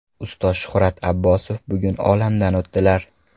Ustoz Shuhrat Abbosov bugun olamdan o‘tdilar.